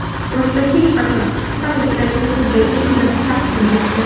Boshqa hech qachon” qisqa metrajli hujjatli filmini taqdim etdi .